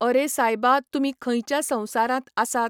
अरे सायबा तुमी खंयच्या संवसारांत आसात?